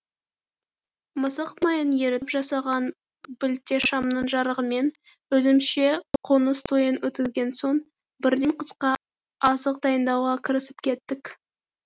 мысық майын ерітіп жасаған білтешамның жарығымен өзімізше қоныс тойын өткізген соң бірден қысқа азық дайындауға кірісіп кеттік